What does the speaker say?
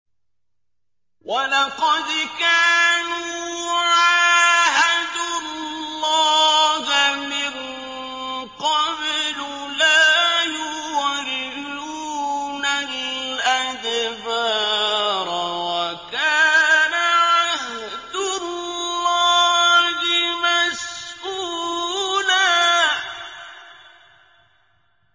وَلَقَدْ كَانُوا عَاهَدُوا اللَّهَ مِن قَبْلُ لَا يُوَلُّونَ الْأَدْبَارَ ۚ وَكَانَ عَهْدُ اللَّهِ مَسْئُولًا